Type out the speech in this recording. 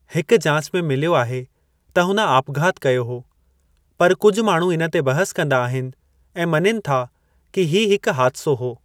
हिक जाच में मिलियो आहे त हुन आपघाति कयो हो, पर कुझु माण्हू इन ते बहिस कंदा आहिनि ऐं मञीनि था कि हीउ हिकु हादिसो हो।